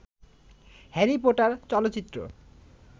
Harry Potter চলচ্চিত্র